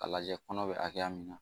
A lajɛ kɔnɔ be hakɛ min na